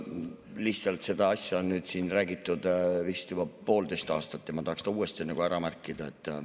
Lihtsalt seda asja on siin räägitud vist juba poolteist aastat ja ma tahaks ta uuesti nagu ära märkida.